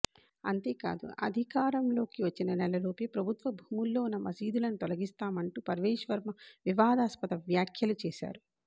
అంతేకాదు అధికారంలోకి వచ్చిన నెలలోపే ప్రభుత్వ భూముల్లో ఉన్న మసీదులను తొలగిస్తామంటూ పర్వేష్ వర్మ వివాదాస్పద వ్యాఖ్యలు చేశారు